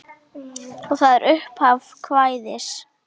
Og er þetta upphaf kvæðis: